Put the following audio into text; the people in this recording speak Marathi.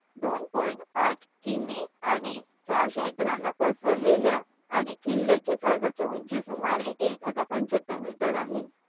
दोन पॉईंट आठ किमी आणि चर्च एकरांवर पसरलेल्या आणि किल्याची सर्वत्र उंची